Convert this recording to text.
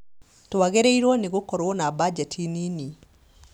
Twagĩrĩirwo nĩ gũkorwo na mbajeti nini